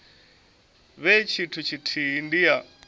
vhe tshithu tshithihi ndi ya